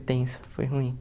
tenso, foi ruim.